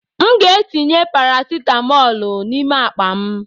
M ga-etinye parasitamọlu n'ime akpa m.